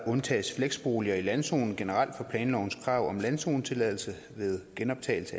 undtages fleksboliger i landzoner generelt fra planlovens krav om landzonetilladelse ved genoptagelse